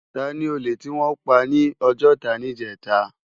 Táni ólé tiwòn pá ni Ojota nijètá?